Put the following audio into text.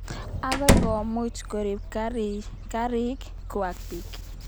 Akoi komuch korip korik kwak piik.